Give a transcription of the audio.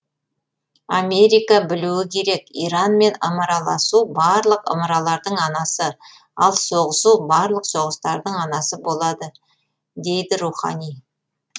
америка білуі керек иранмен ымыраласу барлық ымыралардың анасы ал соғысу барлық соғыстардың анасы болады дейді рухани